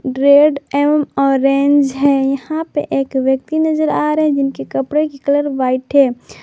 Red एवं orange है यहां पे एक व्यक्ति नजर आ रहे हैं जिनके कपड़े की कलर व्हाइट है।